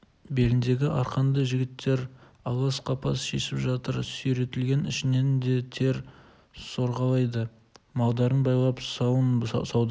беліндегі арқанды жігіттер алас-қапас шешіп жатыр сүйретілген ішінен де тер сорғалайды малдарын байлап сауын сауды